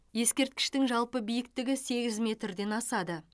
ескерткіштің жалпы биіктігі сегіз метрден асады